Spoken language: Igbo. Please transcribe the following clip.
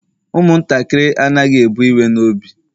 umuntakiri anaghi e bu iwe n'obi